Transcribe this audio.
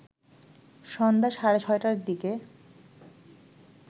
সন্ধ্যা সাড়ে ৬টার দিকে